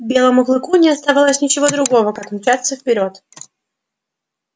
белому клыку не оставалось ничего другого как мчаться вперёд